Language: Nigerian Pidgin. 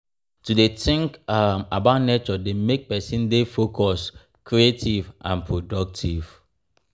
to de think um about nature de make persin de focus creative and productive